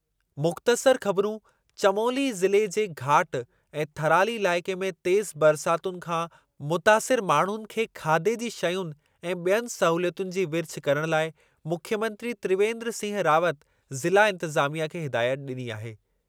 मुख़्तसरु ख़बिरूं चमोली ज़िले जे घाट ऐं थराली इलाइक़े में तेज़ु बरसातुनि खां मुतासिरु माण्हुनि खे खाधे जी शयुनि ऐं ॿियनि सहूलियतुनि जी विरिछ करण लाइ मुख्यमंत्री त्रिवेन्द्र सिंह रावत ज़िला इंतिज़ामिया खे हिदायत ॾिनी आहे।